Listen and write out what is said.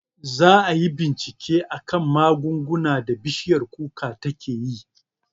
Za ayi bincike akan magungunan da bishiyar kuka takeyi